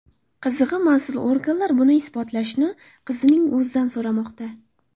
Qizig‘i, mas’ul organlar buni isbotlashni qizning o‘zidan so‘rashmoqda.